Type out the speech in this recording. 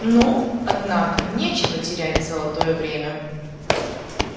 ну однако нечего терять золотое время